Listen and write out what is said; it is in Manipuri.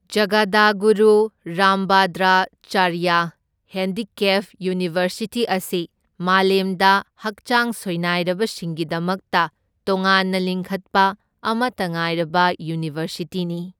ꯖꯒꯗꯒꯨꯔꯨ ꯔꯥꯝꯚꯗ꯭ꯔꯆꯥꯔ꯭ꯌ ꯍꯦꯟꯗꯤꯀꯦꯞ ꯌꯨꯅꯤꯚꯔꯁꯤꯇꯤ ꯑꯁꯤ ꯃꯥꯂꯦꯝꯗ ꯍꯛꯆꯥꯡ ꯁꯣꯏꯅꯥꯏꯔꯕꯁꯤꯡꯒꯤꯗꯃꯛꯇ ꯇꯣꯉꯥꯟꯅ ꯂꯤꯡꯈꯠꯄ ꯑꯃꯇ ꯉꯥꯏꯔꯕ ꯌꯨꯅꯤꯚꯔꯁꯤꯇꯤꯅꯤ꯫